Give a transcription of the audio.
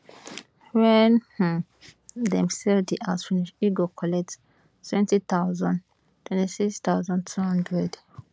wen um dem sell di house finish e go collect wenty thousand twenty six thousand two hundred